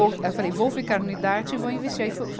Vou, aí eu falei, vou ficar no idarte e vou investir. Aí foi